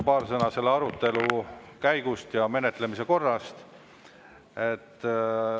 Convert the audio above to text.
Paar sõna selle arutelu käigust ja menetlemise korrast.